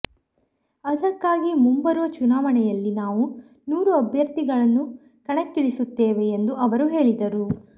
ಅದಕ್ಕಾಗಿ ಮುಂಬರುವ ಚುನಾವಣೆಯಲ್ಲಿ ನಾವು ನೂರು ಅಭ್ಯರ್ಥಿಗಳನ್ನು ಕಣಕ್ಕಿಳಿಸುತ್ತೇವೆ ಎಂದು ಅವರು ಹೇಳಿದರು